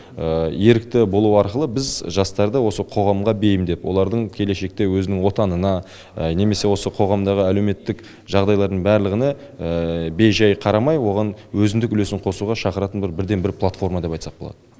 ерікті болу арқылы біз жастарды осы қоғамға бейімдеп олардың келешекте өзінің отанына немесе осы қоғамдағы әлеуметтік жағдайлардың барлығына бей жай қарамай оған өзіндік үлесін қосуға шақыратын бір бірден бір платформа деп айтсақ болады